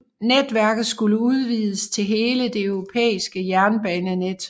Netværket skulle udvides til hele det europæiske jernbanenet